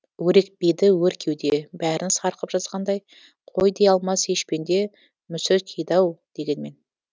өрекпиді өр кеуде бәрін сарқып жазғандай қой дей алмас еш пенде мүсіркейді ау дегенмен